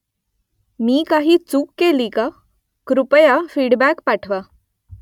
मी काही चूक केली का ? कृपया फीडबॅक पाठवा